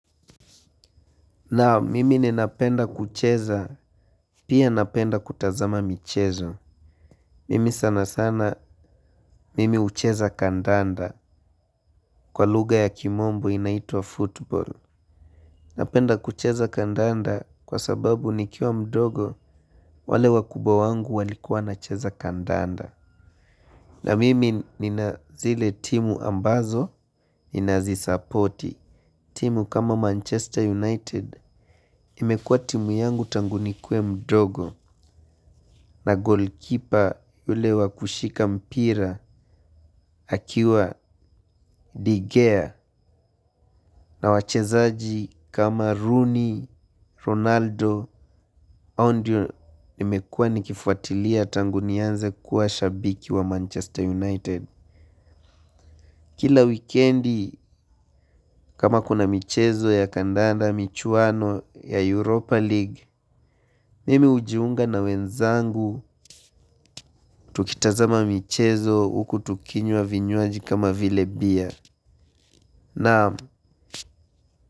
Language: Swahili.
Naam mimi ninapenda kucheza pia napenda kutazama michezo. Mimi sana sana mimi ucheza kandanda kwa luga ya kimombo inaitua football. Napenda kucheza kandanda kwa sababu nikiwa mdogo wale wakubwa wangu walikuwa nacheza kandanda. Na mimi nina zile timu ambazo ninazi supporti. Timu kama Manchester United imekua timu yangu tangu nikwe mdogo na goalkeeper yule wakushika mpira akiwa digea na wachezaji kama Rooney, Ronaldo, ao ndio nimekua nikifuatilia tangu niyanze kuwa shabiki wa Manchester United. Kila wikendi kama kuna michezo ya kandanda michuano ya Europa League Mimi ujiunga na wenzangu tukitazama michezo huku tukinywa vinyuaji kama vile bia. Naamu.